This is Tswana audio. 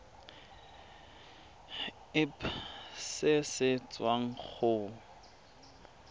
irp se se tswang go